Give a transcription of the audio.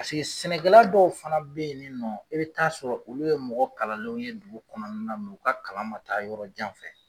Paseke sɛnɛkɛla dɔw fana be ye nin nɔ i bɛ taa sɔrɔ olu ye mɔgɔ kalalenw ye dugu kɔnɔna na, u ka kalan ma taa yɔrɔ jan fɛ.